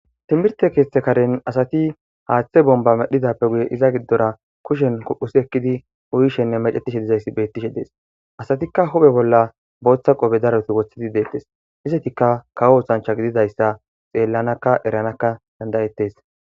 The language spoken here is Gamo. timirte keeththe karen asati haaththe bomba medhidappe guye iza giddora kushen ko'usi ekkidi uyishenne mecetishe dizayssi beettishe dees asatikka huphe bolla booththa qobe daroti woththidi deettes izatikka kawo usancha gididayssa xeellanakka eranakka dandayettes